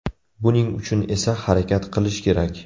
Buning uchun esa harakat qilish kerak.